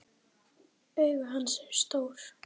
Augu hans eru stór.